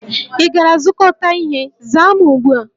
Ị gara zụkọta ihe? Zaa m ugbu a!